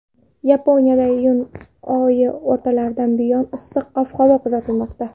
Yaponiyada iyun oyi o‘rtalaridan buyon issiq ob-havo kuzatilmoqda.